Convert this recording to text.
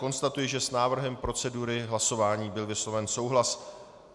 Konstatuji, že s návrhem procedury hlasování byl vysloven souhlas.